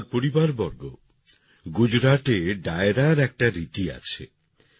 আমার পরিবারবর্গ গুজরাটে ডায়রার একটা রীতি আছে